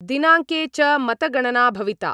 दिनाङ्के च मतगणना भविता